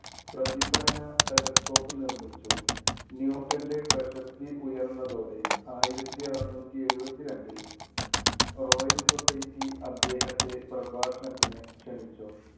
പ്രതിഫലന telescope നിർമ്മിച്ചു. ന്യൂട്ടന്‍റെ പ്രശസ്തി ഉയർന്നതോടെ ആയിരത്തി അറുനൂറ്റി എഴുപത്തി രണ്ടിൽ റോയല്‍ സൊസൈറ്റി അദ്ദേഹത്തെ പ്രഭാഷണത്തിന് ക്ഷണിച്ചു.